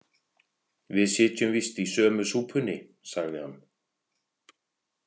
Við sitjum víst í sömu súpunni, sagði hann.